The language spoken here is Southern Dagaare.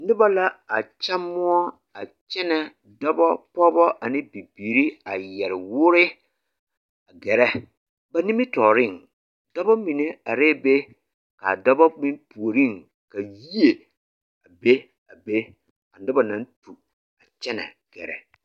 Nobɔ la a kya moɔ a kyɛnɛ dɔbɔ pɔɔbɔ ane bibiire a yɛre woore a gɛrɛ ba nimitooreŋ dɔbɔ mine arɛɛ be kaa dɔbɔ be puoriŋ ka yie a be a be nobɔ naŋ tu a kyɛnɛ gɛrɛ.